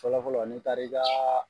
Fɔlɔfɔlɔ nin taaarik'aa.